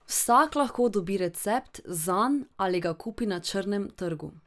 Vsak lahko dobi recept zanj ali ga kupi na črnem trgu.